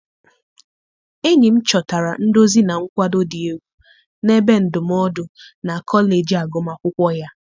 Enyi m chọtara nduzi na nkwado dị egwu na ebe ndụmọdụ na kọleji agụmakwụkwọ ya.